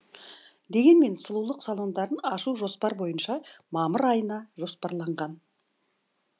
дегенмен сұлулық салондарын ашу жоспар бойынша мамыр айына жоспарланған